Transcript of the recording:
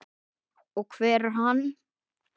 Og hver er hann?